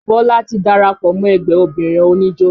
Bọlá ti darapọ̀ mọ́ ẹgbẹ́ obìnrin oníjó